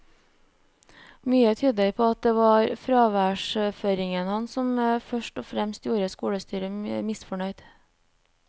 Mye tyder på at det var fraværsføringen hans som først og fremst gjorde skolestyret misfornøyd.